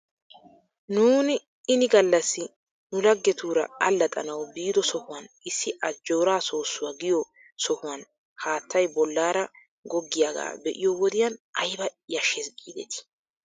Nuuni ini gallassi nu laggetuura allaxxanaw biido sohuwan issi ajooraa soossuwaa giyoo sohuwan haattay bolaara goggiyaagaa be'iyoo wodiyan ayba yashshes giidetii?